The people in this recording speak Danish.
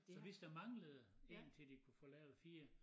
Så hvis der manglede én til de kunne få lavet 4